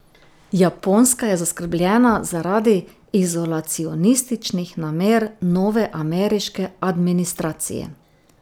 Japonska je zaskrbljena zaradi izolacionističnih namer nove ameriške administracije.